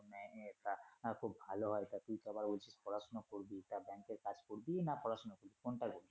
তা খুব ভালো হয় তা তুই তো আবার ওই পড়াশুনা করবি তা ব্যাংকের কাজ করবি না পড়াশুনা করবি কোনটা করবি?